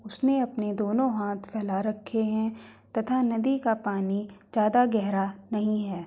उसने अपने दोनों हाथ फैला रखे हैं तथा नदी का पानी ज्यादा गहरा नहीं है।